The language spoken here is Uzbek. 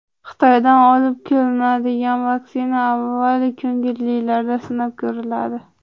Xitoydan olib kelinadigan vaksina avval ko‘ngillilarda sinab ko‘riladi.